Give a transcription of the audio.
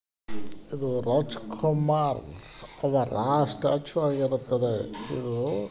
ಇದು ರಾಜಕುಮಾರ್ ಅವರ ಸ್ಟೇಚು ಆಗಿರುತ್ತದೆ. ಇದು--